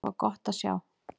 Það var gott að sjá.